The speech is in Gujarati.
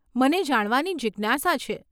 મને જાણવાની જીજ્ઞાસા છે.